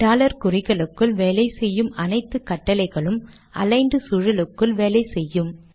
dollar குறிகளுக்குள் வேலை செய்யும் அனைத்து கட்டளைகளும் அலிக்ன்ட் சூழலுக்குள் வேலை செய்யும்